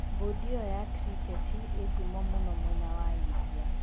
Bodi iyo ya kriketi ĩ ngũmo mũno mwena wa India.